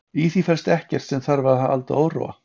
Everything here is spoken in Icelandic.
Í því felst ekkert sem þarf að valda óróa